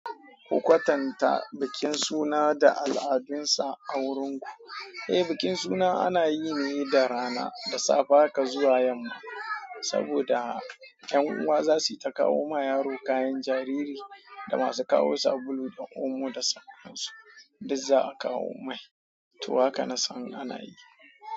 Ku kwatanta bikin suna da al'adunsa a wurinku. Eh, bikin suna ana yi ne da rana, da safe haka zuwa yamma, saboda 'yan uwa za su yi ta kawo ma yaro kayan jariri da masu kawo sabulu da omo da sauran su, duk za a kawo mai. To haka na san ana yi.